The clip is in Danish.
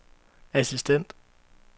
assistent